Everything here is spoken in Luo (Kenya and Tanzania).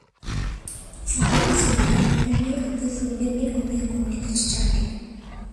Chuore ose nyaka riembe mi odhi thurgi mi omiye kum nikech chadi.